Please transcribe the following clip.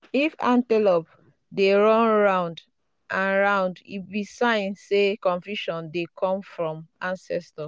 if antelope um dey um run round and round e be sign say confusion dey come from um ancestors.